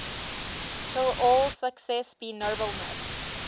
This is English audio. till all success be nobleness